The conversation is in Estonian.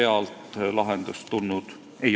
Aitäh!